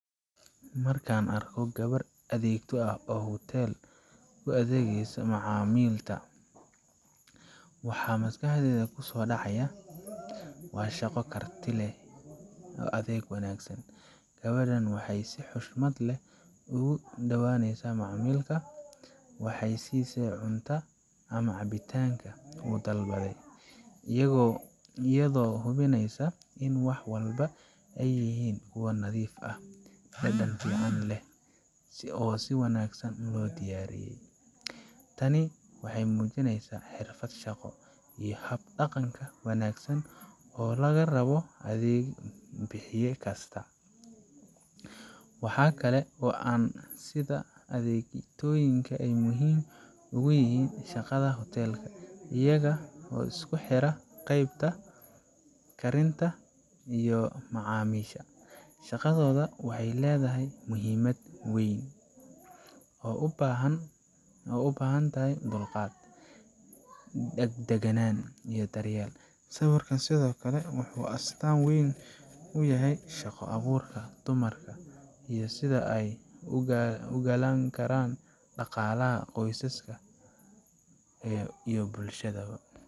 Marka aan arko gabadh adeegto ah oo hotel ka u adeegaysa macmiil, waxa maskaxdayda ku soo dhacaya shaqo karti iyo adeeg wanaagsan. Gabadhan waxay si xushmad leh ugu soo dhawdahay macmiilka, waxay siiyeyaa cuntada ama cabbitaanka uu dalbaday, iyadoo hubinaysa in wax walba ay yihiin kuwo nadiif ah, dhadhan fiican leh, oo si wanaagsan loo diyaariyey. Tani waxay muujinaysaa xirfad shaqo iyo hab dhaqan wanaagsan oo laga rabo adeeg bixiye kasta. Waxa kale oo aan arkaa sida adeegtooyinku ay muhiim ugu yihiin shaqada hoteelka iyagaa isku xira qeybta karinta iyo macaamiisha. Shaqadooda waxay leedahay muhiimad weyn, waxayna u baahan tahay dulqaad, daganaan, iyo daryeel. Sawirkan sidoo kale wuxuu astaan u yahay shaqo abuurka dumarka iyo sida ay ugaalin karaan dhaqaalaha qoyska iyo bulshadaba.